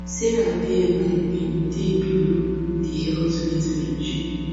sarah bmi bin dey below di healthy weight range